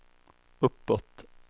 uppåt